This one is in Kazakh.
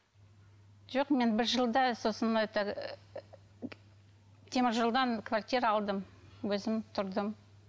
жоқ мен бір жылда сосын это теміржолдан квартира алдым өзім тұрдым